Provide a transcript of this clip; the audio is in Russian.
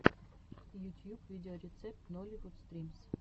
ютьюб видеорецепт нолливуд стримс